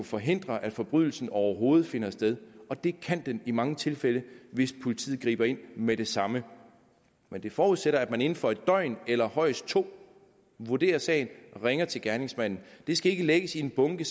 forhindre at forbrydelsen overhovedet finder sted og det kan vi i mange tilfælde hvis politiet griber ind med det samme men det forudsætter at man inden for et døgn eller højst to vurderer sagen og ringer til gerningsmanden det skal ikke lægges i en bunke